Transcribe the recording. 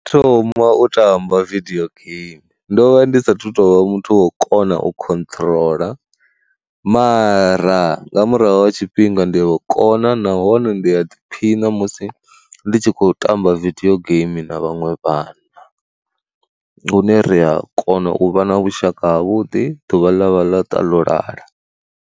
Thoma u tamba vidio game, ndovha ndi sathu tovha muthu wa u kona u khotrola mara nga murahu ha tshifhinga ndi a ukona nahone ndi a ḓiphina musi nditshi kho tamba video game na vhaṅwe vhana. Lune ri a kona u vha na vhushaka havhuḓi ḓuvha ḽavha ḽa ṱa ḽo lala.